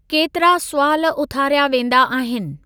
केतिरा सुवाल उथारिया वेंदा आहिनि।